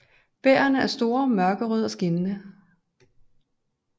Bærrene er store mørkerøde og skinnende